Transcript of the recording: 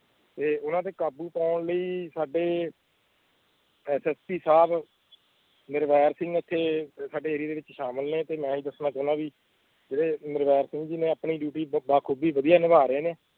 ਤੇ ਉਨ੍ਹਾਂ ਤੇ ਕਾਬੂ ਪਾਉਨ ਲਈ ਸਾਡੇ ਸ ਸ ਪੀ ਸਾਬ ਨਿਰਵੈਰ ਸਿੰਘ ਏਤੇ ਸਾਡੇ ਏਰੀਏ ਵਿੱਚ ਸ਼ਾਮਲ ਨੇ ਤੇ ਮੈਂ ਦੱਸਣਾ ਚਾਦਾ ਵੀ ਜੇੜੇ ਨਿਰਵੈਰ ਸਿੰਘ ਜੀ ਨੇ ਆਪਣੀ ਡਿਊਟੀ ਬਾਖ਼ੁਦਾ ਨਿਬਾ ਰਹੀਏ ਨੇ